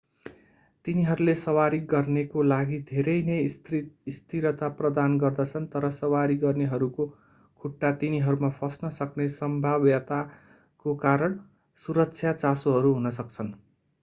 तिनीहरूले सवारी गर्नेको लागि धेरै नै स्थिरता प्रदान गर्दछन् तर सवारी गर्नेहरूको खुट्टा तिनीहरूमा फस्न सक्ने सम्भाव्यताको कारण सुरक्षा चासोहरू हुन सक्छन्